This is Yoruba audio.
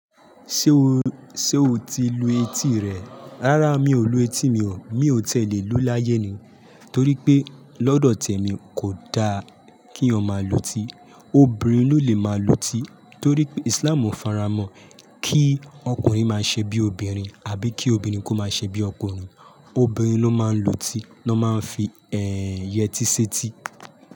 Ṣé o, ṣe o ti lu etí rẹ? Rárá mi ò lu etí mi o, mi ò tiẹ̀ lé lu láyé ni. Torí pé lọ́dọ̀ tèmi kò da kí èèyàn máa lu etí. Obìnrin ló lè máa lu etí torí pé Islam ò faramọ́ kí ọkùnrin máa ṣẹ bí obìnrin àbí kí obìnrin kó máa ṣẹ bí ọkùnrin. Obìnrin ló máa ń lu etí, ló máa ń fi yẹtí ṣẹ́ etí.